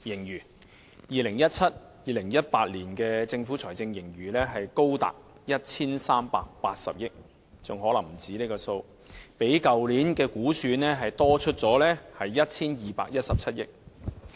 2017-2018 年度的財政盈餘高達 1,380 億元——可能還不止這個數目——較去年的估算超出逾 1,217 億元。